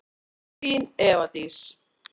Þín, Eva Dís.